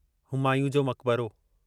हुमायूं जो मकबरो